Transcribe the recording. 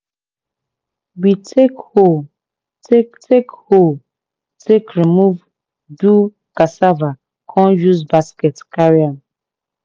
we take hoe take take hoe take remove do cassava con use basket carry am.